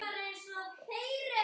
Agnar og Hlíf.